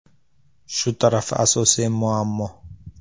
Shu tarafi asosiy muammo.